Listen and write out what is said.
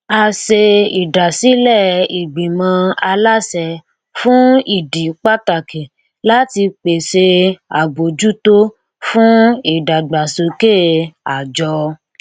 a ṣe ìdásílẹ ìgbìmọ aláṣẹ fún ìdí pàtàkì láti pèsè àbójútó fún ìdàgbàsókè àjọ